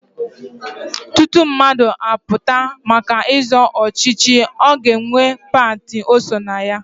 Tutu mmadụ apụta maka ịzọ ọchịchị, ọ ga-enwe pati o so na ya.